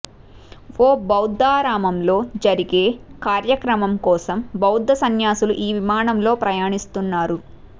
ఓ బౌద్దారామంలో జరిగే కార్యక్రమం కోసం బౌద్ద సన్యాసులు ఈ విమానంలో ప్రయాణిస్తున్నారు